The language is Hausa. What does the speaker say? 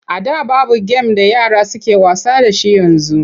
A da babu gem da yara suke wasa da shi yanzu.